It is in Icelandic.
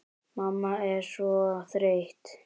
Mamma er svo þreytt.